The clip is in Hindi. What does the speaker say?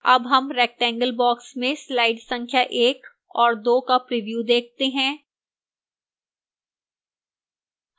अब हम rectangle box में slide संख्या 1 और 2 का प्रिव्यू देखते हैं